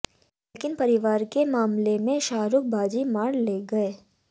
लेकिन परिवार के मामले में शाहरुख बाजी मार ले गये